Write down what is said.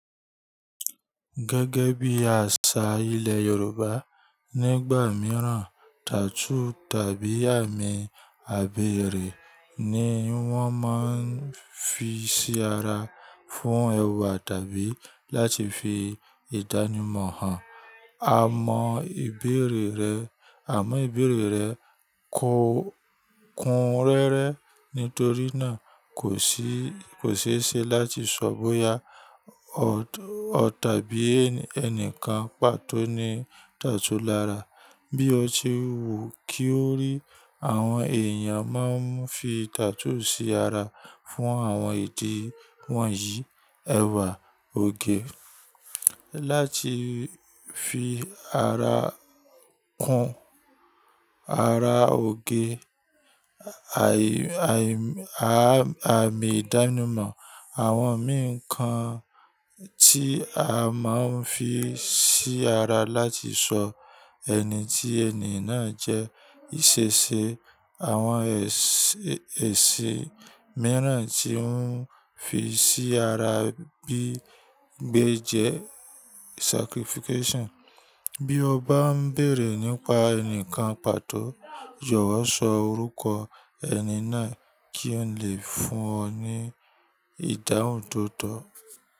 Gẹ́gẹ́ bí àṣà ilẹ̀ Yorùbá, nígbà mìíràn tattoo tàbí àmì àbèrè ni wọ́n máa ń fi sí ara fún ẹwà tàbí láti fi ìdánimọ̀ hàn. Àmọ́ ìbèrè rẹ, àmọ́ ìbèrè rẹ kún rẹ́rẹ́ nítorí náà kò ṣeéṣe láti sọ bóyá tàbí ẹnìkan pàtó ní tattoo lára. Bí o ṣe wù kí o rí, àwọn èèyàn máa ń fi tattoo sí ara fún àwọn ìdí wọ̀nyí: ẹwà, òge, láti fi ara kún, ara òge, àmì ìdánimọ̀, àwọn ǹkan tí a máa ń fi sí ara láti sọ ẹni tí ẹni náà jẹ́, ìṣẹ̀ṣẹ̀, àwọn èsìn mìíràn tí wọ́n fi sí ara bíi gbéjẹ́. Bí o bá ń bèrè nípa ẹnìkan pàtó, jowọ́ sọ orúkọ ẹni náà kí n lè fún ọ ní ìdáhùn tó tọ́.